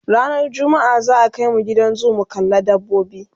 ranar jumma'a za'a Kai mu Gidan zoo mu kalla dabbobi